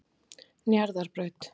Njarðarbraut